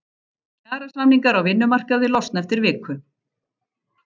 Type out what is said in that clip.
Kjarasamningar á vinnumarkaði losna eftir viku